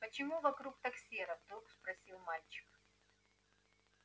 почему вокруг так серо вдруг спросил мальчик